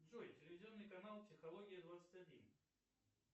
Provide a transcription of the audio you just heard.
джой телевизионный канал психология двадцать один